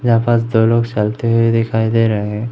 यहां पास दो लोग चलते हुए दिखाई दे रहे हैं।